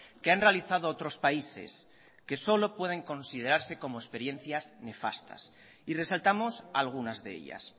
que han realizado otros países que solo pueden considerarse como experiencias nefastas y resaltamos algunas de ellas